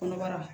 Kɔnɔbara